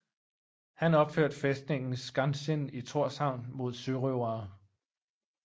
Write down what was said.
Han opførte fæstningen Skansin i Tórshavn mod sørøvere